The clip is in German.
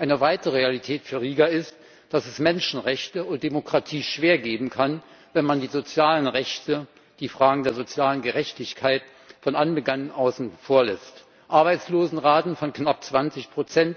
Eine weitere Realität für Riga ist, dass es Menschenrechte und Demokratie nur schwer geben kann, wenn man die sozialen Rechte, die Fragen der sozialen Gerechtigkeit von Anbeginn außen vor lässt Arbeitslosenraten von knapp 20